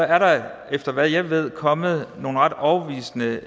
er der efter hvad jeg ved kommet noget ret overbevisende